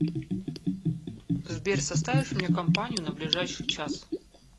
сбер составишь мне компанию на ближайший час